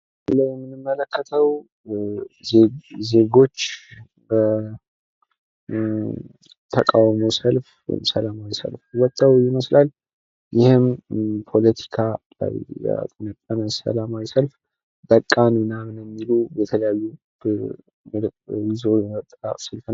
በምስሉ ላይ የምንመለከተው ዜጎች የተቃውሞ ሰልፍ ወይም ሰላማዊ ሰልፍ ወተው በቃን የሚሉ ይመስላሉ።